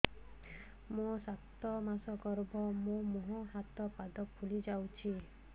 ମୋ ସାତ ମାସର ଗର୍ଭ ମୋ ମୁହଁ ହାତ ପାଦ ଫୁଲି ଯାଉଛି